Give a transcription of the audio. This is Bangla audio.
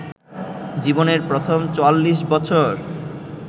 জীবনের প্রথম ৪৪ বছর